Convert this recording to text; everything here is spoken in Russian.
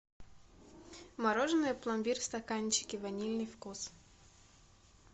мороженое пломбир в стаканчике ванильный вкус